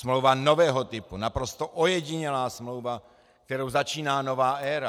Smlouva nového typu, naprosto ojedinělá smlouva, kterou začíná nová éra.